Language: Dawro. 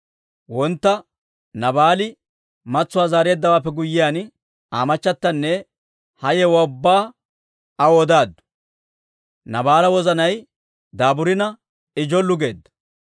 Wontta Naabaali matsuwaa zaareeddawaappe guyyiyaan, Aa machatanne ha yewuwaa ubbaa aw odaaddu; Naabaala wozanay daaburina I jollu geedda.